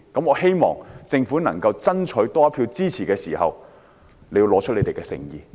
我希望政府在想多爭取一票支持時，能夠拿出誠意。